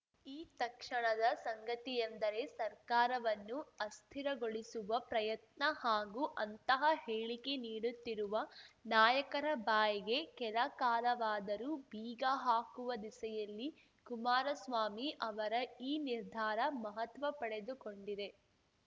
ಈ ತಕ್ಷಣದ ಸಂಗತಿಯೆಂದರೆ ಸರ್ಕಾರವನ್ನು ಅಸ್ಥಿರಗೊಳಿಸುವ ಪ್ರಯತ್ನ ಹಾಗೂ ಅಂತಹ ಹೇಳಿಕೆ ನೀಡುತ್ತಿರುವ ನಾಯಕರ ಬಾಯಿಗೆ ಕೆಲ ಕಾಲವಾದರೂ ಬೀಗ ಹಾಕುವ ದಿಸೆಯಲ್ಲಿ ಕುಮಾರಸ್ವಾಮಿ ಅವರ ಈ ನಿರ್ಧಾರ ಮಹತ್ವ ಪಡೆದುಕೊಂಡಿದೆ